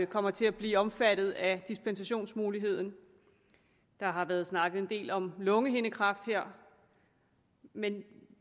kommer til at blive omfattet af dispensationsmuligheden der har været snakket en del om lungehindekræft her men